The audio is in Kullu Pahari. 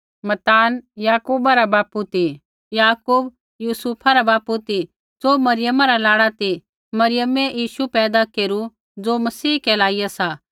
याकूब यूसुफा रा बापू ती ज़ो मरियमा रा लाड़ा ती मरियमै यीशु पैदा केरु ज़ो मसीह कहलाइया सा